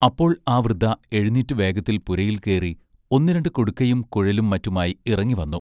അപ്പോൾ ആ വൃദ്ധ എഴുനീറ്റു വേഗത്തിൽ പുരയിൽ കേറി ഒന്നു രണ്ടു കുടുക്കയും കുഴലും മറ്റുമായി ഇറങ്ങി വന്നു.